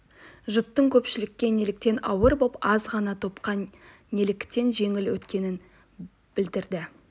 жұттың көпшілікке неліктен ауыр болып аз ғана топқа неліктен жеңіл өткенін білдірді